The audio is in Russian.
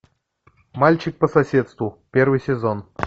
мальчик по соседству первый сезон